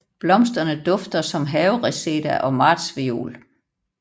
Blomsterne dufter som havereseda og martsviol